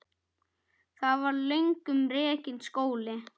Þar var löngum rekinn skóli.